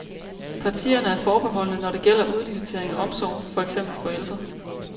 Partierne er forbeholdne, når det gælder udlicitering af omsorg, for eksempel for ældre.